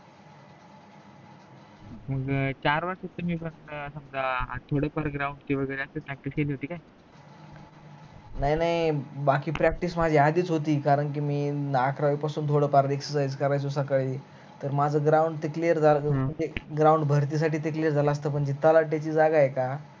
नाही नाही बाकी practice माझी आधीच होती कारण कि अकरावी पासून थोड फार exercise करायचो सकाळी तर माझ ground ते clear झाल असत ते ground भरती साठी clear झालच असत पण ते तलाठ्याची जागा आहे का